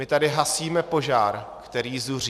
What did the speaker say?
My tady hasíme požár, který zuří.